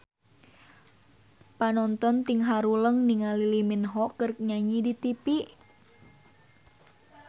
Panonton ting haruleng ningali Lee Min Ho keur nyanyi di tipi